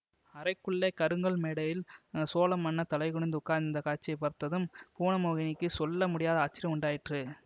அறைக்குள்ளே கருங்கல் மேடையில் சோழ மன்னர் தலைகுனிந்து உட்கார்ந்திருந்த காட்சியை பார்த்ததும் புவனமோகினிக்குச் சொல்ல முடியாத ஆச்சரியம் உண்டாயிற்று